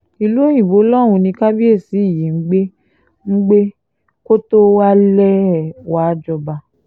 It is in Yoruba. ìlú òyìnbó lọ́hùn-ún ni kábíyèsí yìí ń gbé ń gbé kó tóó wálẹ̀ wàá jọba